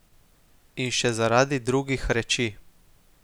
In še zaradi drugih reči.